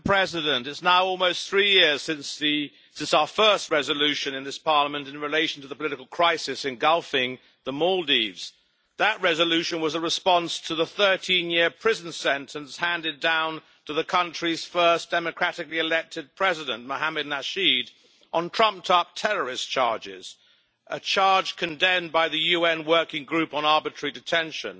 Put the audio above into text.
Madam President, it is now almost three years since our first resolution in this Parliament in relation to the political crisis engulfing the Maldives. That resolution was a response to the 13 year prison sentence handed down to the country's first democratically elected President, Mohamed Nasheed, on trumped up terrorist charges, which were condemned by the UN Working Group on Arbitrary Detention.